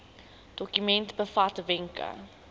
dokument bevat wenke